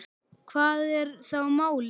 Hvað er þá málið?